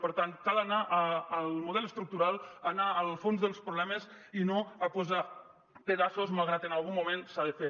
per tant cal anar al model estructural anar al fons dels problemes i no a posar pedaços malgrat que en algun moment s’ha de fer